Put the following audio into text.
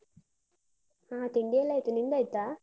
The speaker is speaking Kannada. ಹ ತಿಂಡಿಯೆಲ್ಲ ಆಯ್ತು, ನಿಂದಾಯ್ತಾ?